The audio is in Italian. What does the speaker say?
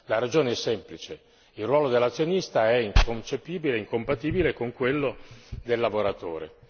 La ragione è semplice il ruolo dell'azionista è inconcepibile e incompatibile con quello del lavoratore.